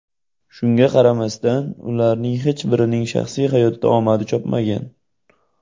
Shunga qaramasdan, ularning hech birining shaxsiy hayotda omadi chopmagan.